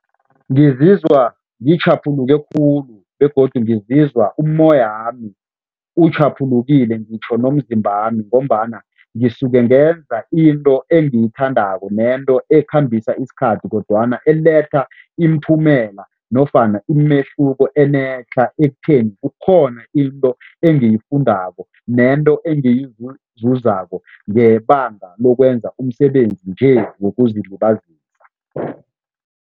Ngizizwa ngitjhaphuluke khulu begodu ngizizwa umoyami utjhaphulukile ngitjho nomzimbami ngombana ngisuke ngenza into engiyithandako nento ekhambisa isikhathi kodwana eletha imiphumela nofana imehluko enetlha ekutheni kukhona into engiyifundako nento engiyizuzako ngebanga lokwenza umsebenzi nje wokuzilibazisa.